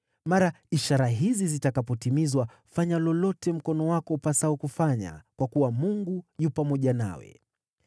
Mara ishara hizi zitakapotimizwa, fanya lolote mkono wako upasao kufanya, kwa kuwa Mungu yu pamoja nawe.